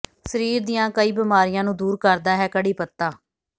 ਸਰੀਰ ਦੀਆਂ ਕਈ ਬੀਮਾਰੀਆਂ ਨੂੰ ਦੂਰ ਕਰਦਾ ਹੈ ਕੜ੍ਹੀ ਪੱਤਾ